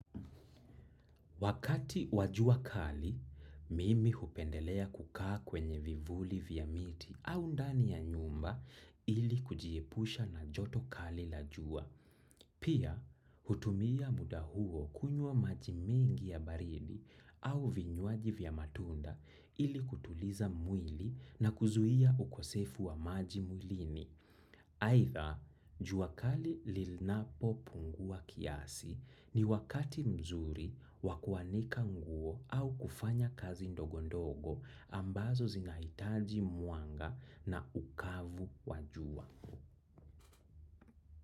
Wakati wajua kali, mimi hupendelea kukaa kwenye vivuli vya miti au ndani ya nyumba ili kujiepusha na joto kali la jua. Pia, hutumia muda huo kunywa maji mingi ya baridi au vinywaji vya matunda ili kutuliza mwili na kuzuia ukosefu wa maji mwilini. Aitha, jua kali linapo pungua kiasi ni wakati mzuri wakuanika nguo au kufanya kazi ndogo ndogo ambazo zinahitaji mwanga na ukavu wa jua.